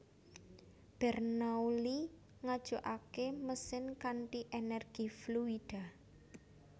Bernoulli Ngajukake mesin kanthi energi fluida